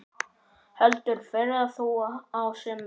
Heldur fleira þó á sumrin.